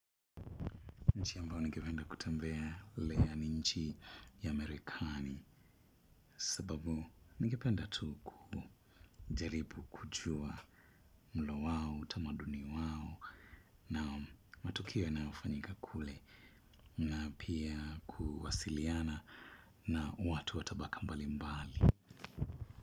Nchi ambayo ningependa kutembelea ni nchi ya marekani. Sababu ningependa tu kujaribu kujua mlo wao, utamaduni wao na matukio yanayofanyika kule. Na pia kuwasiliana na watu wa tabaka mbali mbali.